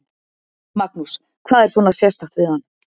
Magnús: Hvað er svona sérstakt við hann?